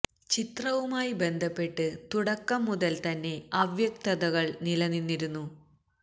ചിത്രവുമായി ബന്ധപ്പെട്ട് തുടക്കം മുതല് തന്നെ അവ്യക്തതകള് നില നിന്നിരുന്നു